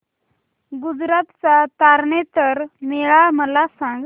गुजरात चा तारनेतर मेळा मला सांग